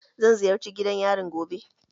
Zan ziyarce gidan yarin gobe.